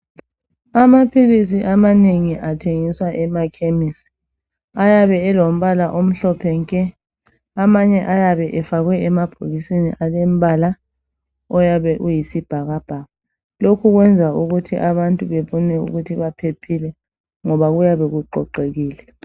Amaphilisi amanengi athengiswa emakhemisi ayabe elombala omhlophe nke, amanye ayabe efakwe emabhokisini alombala oyabe uyisibhakabhaka; lokho kwenza ukuthu abantu bebone ukuthi baphephile ngoba kuyabe kuqoqekile.